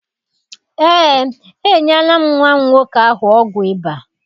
Eé, enyela m nwa m nwoke ahụ ọgwụ ịba.